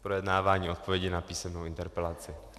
Projednávání odpovědi na písemnou interpelaci.